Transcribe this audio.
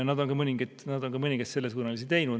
Nad on mõningaid sellesuunalisi ka teinud.